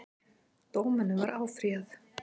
Dómunum var áfrýjað